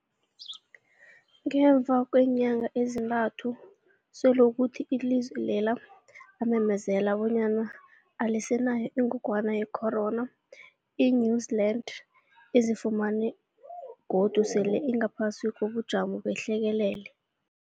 Ngemva kweenyanga ezintathu selokhu ilizwe lela lamemezela bonyana alisenayo ingogwana ye-corona, i-New-Zealand izifumana godu sele ingaphasi kobujamo behlekelele.